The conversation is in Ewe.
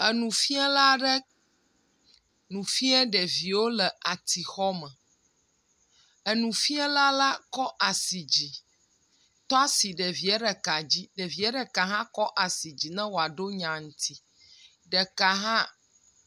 Enufiala ɖe nu fiam ɖeviwo le atixɔ me. Enufiala la kƒ asi dzi, tɔa si ɖevie ɖeka dzi. Ɖevie ɖeka hã kɔ asi di ne woa ɖo nya ŋuti. Ɖeka hã……